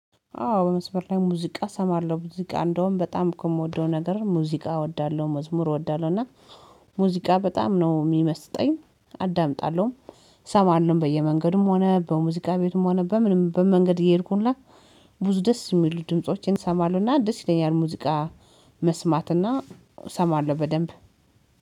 አዎ በመስመር ላይ ሙዚቃ እሰማለሁ ሙዚቃ እንደውም በጣም ከምወደው ነገር ሙዚቃ እወዳለሁ መዝሙር እወዳለሁ እና ሙዚቃ በጣም ነው የሚመስጠኝ። አዳምጣለሁ እሰማለሁ በየመንገድም ሆነ በሙዚቃ ቤትም ሆነ በምንም በመንገድ እየሄድኩኝ እና ብዙ ደስ የሚሉ ድምፆችን እሰማለሁና አንድ ይለኛል ሙዚቃ። መስማት እና እሰማለሁ በደንብ